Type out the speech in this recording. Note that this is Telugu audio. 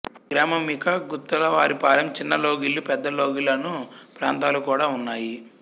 ఈ గ్రామామికి గుత్తులవారిపాలెం చిన్న లోగిళ్ళు పెద్ద లోగిళ్ళు అను ప్రాంతాలు కూడా ఉన్నాయి